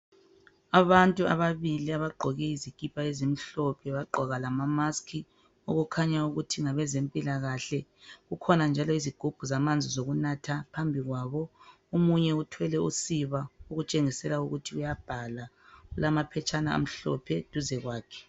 abantu ababili abagqoke izikipa ezimhlophe bagqoka lama mask okukhanya ukuthi ngabezempilakahle kukhona njalo izigubhu zamanzi okunatha phambi kwabo omunye uthwele usiba okutshengisela ukuthi uyabhala kulaphetshana amhlophe duze kwakhe